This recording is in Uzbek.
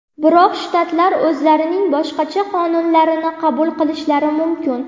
Biroq shtatlar o‘zlarining boshqacha qonunlarini qabul qilishlari mumkin.